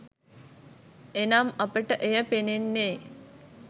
එනම් අපට එය පෙනෙන්නේ